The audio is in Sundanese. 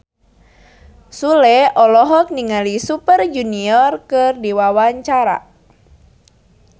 Sule olohok ningali Super Junior keur diwawancara